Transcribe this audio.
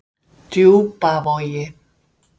Djúpavogi